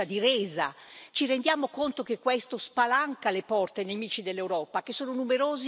Ci rendiamo conto che questo spalanca le porte ai nemici dell'Europa, che sono numerosi e crescenti?